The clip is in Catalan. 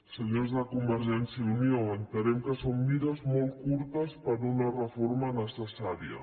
senyors de convergència i unió entenem que són mires molt curtes per a una reforma necessària